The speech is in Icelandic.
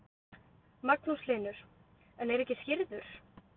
Magnús Hlynur: En er ekki skírður?